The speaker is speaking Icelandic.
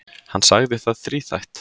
Hann sagði það þríþætt.